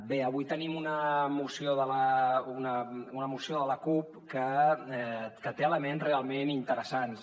bé avui tenim una moció de la cup que té elements realment interessants